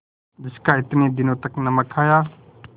जिसका इतने दिनों तक नमक खाया